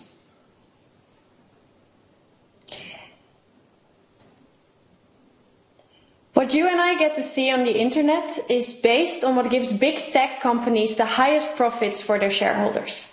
Mr President, what you and I get to see on the internet is based on what gives big tech companies the highest profits for their shareholders.